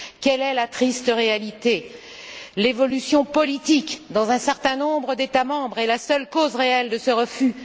Quelle est la triste réalité? L'évolution politique dans un certain nombre d'États membres est la seule cause réelle de ce refus.